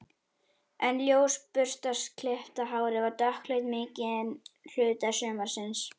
En ljósa burstaklippta hárið var dökkleitt mikinn hluta sumarsins.